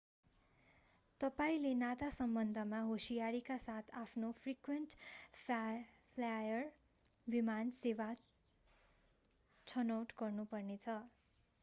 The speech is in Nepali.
तपाईंले नाता सम्बन्धमा होशियारीका साथ आफ्नो फ्रिक्वेन्ट फ्लायर विमान सेवा छनौट गर्नुपर्नेछ